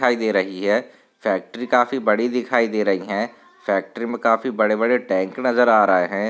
दिखाई दे रही है फैक्ट्री काफी बड़ी दिखाई दे रही है फैक्ट्री में काफी बड़े बड़े टैंक नजर आ रहे है।